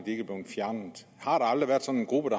aldrig været sådan en gruppe